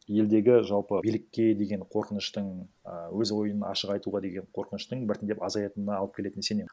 елдегі жалпы билікке деген қорқыныштың і өз ойын ашық айтуға деген қорқыныштың біртіндеп азаятынына алып келетін сенемін